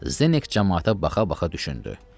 Zenek camaata baxa-baxa düşündü.